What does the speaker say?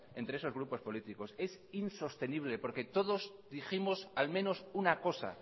entre esos grupos políticos es insostenible porque todos dijimos al menos una cosa